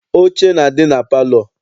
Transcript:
Oche na-adị na palọ.